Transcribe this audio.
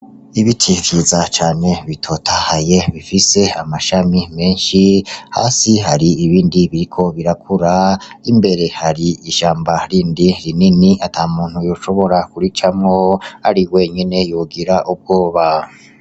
Ibiti vyiza cane bitotahaye bifise amashami meshi hasi hari ibindi biriko birakura imbere hari ishamba rindi rinini atamuntu yoshobora kuricamwo ari wenyene yogira ubwoba.